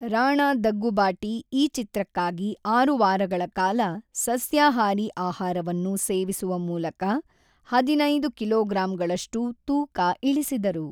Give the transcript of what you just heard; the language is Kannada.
ರಾಣಾ ದಗ್ಗುಬಾಟಿ ಈ ಚಿತ್ರಕ್ಕಾಗಿ ಆರು ವಾರಗಳ ಕಾಲ ಸಸ್ಯಾಹಾರಿ ಆಹಾರವನ್ನು ಸೇವಿಸುವ ಮೂಲಕ ಹದಿನೈದು ಕಿಲೋಗ್ರಾಂಗಳಷ್ಟು ತೂಕ ಇಳಿಸಿದರು.